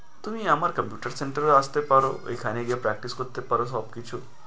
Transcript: তুমি আমার computer center এ আসতে পারো, ঐখানে গিয়েও practice করতে পারো সবকিছু।